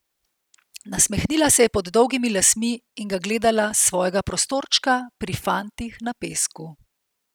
Nasmehnila se je pod dolgimi lasmi in ga gledala s svojega prostorčka pri fantih na pesku.